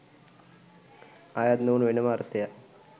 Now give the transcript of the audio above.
අයත් නොවන වෙනම අර්ථයක්